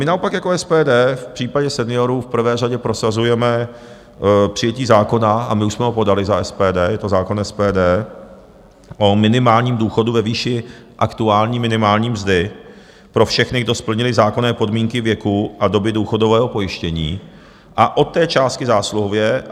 My naopak jako SPD v případě seniorů v prvé řadě prosazujeme přijetí zákona, a my už jsme ho podali za SPD, je to zákon SPD o minimálním důchodu ve výši aktuální minimální mzdy pro všechny, kdo splnili zákonné podmínky věku a doby důchodového pojištění, a od té částky zásluhově.